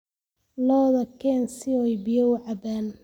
Lo'da keen si ay biyo u cabbaan